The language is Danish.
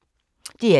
DR1